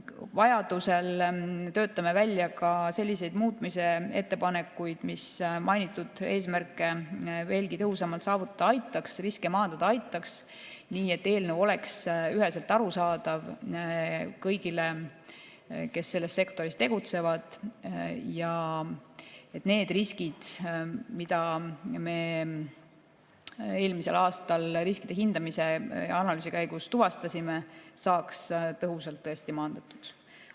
Vajaduse korral töötame välja ka selliseid muutmise ettepanekuid, mis mainitud eesmärke veelgi tõhusamalt saavutada aitaks, riske maandada aitaks, nii et eelnõu oleks üheselt arusaadav kõigile, kes selles sektoris tegutsevad, ja need riskid, mida me eelmisel aastal riskide hindamise analüüsi käigus tuvastasime, saaks tõesti tõhusalt maandatud.